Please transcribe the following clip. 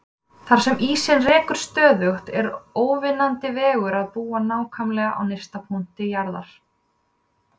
Þar sem ísinn rekur stöðugt er óvinnandi vegur að búa nákvæmlega á nyrsta punkti jarðar.